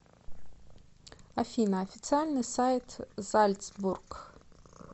афина официальный сайт зальцбург